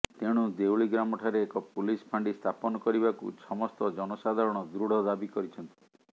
ତେଣୁ ଦେଉଳି ଗ୍ରାମଠାରେ ଏକ ପୁଲିସ ଫାଣ୍ଡି ସ୍ଥାପନ କରିବାକୁ ସମସ୍ତ ଜନସାଧାରଣ ଦୃଢ଼ ଦାବୀ କରିଛନ୍ତି